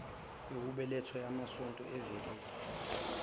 yokubeletha yamasonto evile